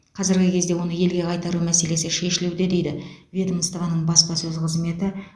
қазіргі кезде оны елге қайтару мәселесі шешілуде дейді ведомствоның баспасөз қызметі